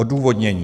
Odůvodnění.